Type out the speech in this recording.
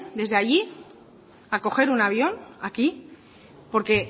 desde allí a coger un avión aquí porque